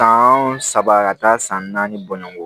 San saba ka taa san naani bɔɲɔgɔnko